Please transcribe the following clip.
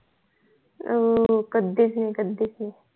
हो हो कधी च नाही कधी च नाही